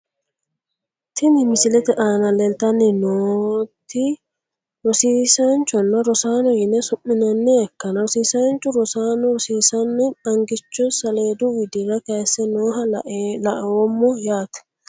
Tini misilete aana leeltani nooti rosiisanchona rosaano yine su`minaniha ikanna rosiisanchu rosano rosiisani angicho saleedu widira kayise nooha la`oomo yaate.